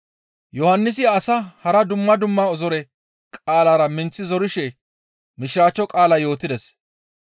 Yohannisi asaa hara dumma dumma zore qaalara minththi zorishe Mishiraachcho qaala yootides.